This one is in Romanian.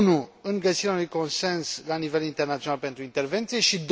1. în găsirea unui consens la nivel internațional pentru intervenție și